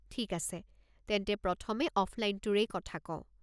ঠিক আছে, তেন্তে প্ৰথমে অফলাইনটোৰেই কথা কওঁ।